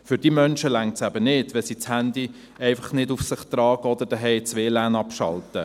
Für diese Menschen reicht es eben nicht, wenn sie das Handy nicht direkt auf sich tragen oder zuhause das WLAN abschalten.